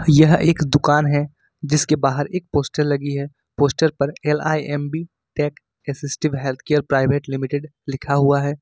यह एक दुकान है जिसके बाहर एक पोस्टर लगी है पोस्टर पर L I M B tech assistive health care private limited लिखा हुआ है।